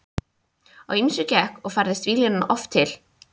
Á ýmsu gekk og færðist víglínan oft til.